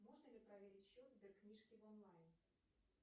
можно ли проверить счет сберкнижки онлайн